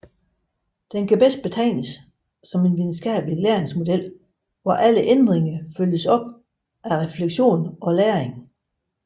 Den kan bedst betegnes som en videnskabelig læringsmodel hvor alle ændringer følges op af refleksion og læring